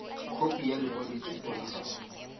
khopi ya lekwaloitshupo la gago